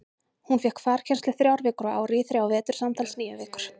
Hún fékk farkennslu þrjár vikur á ári í þrjá vetur, samtals níu vikur.